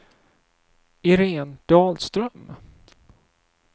Irene Dahlström